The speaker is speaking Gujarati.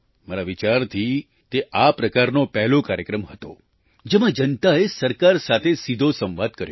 મારા વિચારથી તે આ પ્રકારનો પહેલો કાર્યક્રમ હતો જેમાં જનતાએ સરકાર સાથે સીધો સંવાદ કર્યો